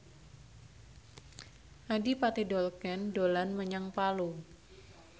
Adipati Dolken dolan menyang Palu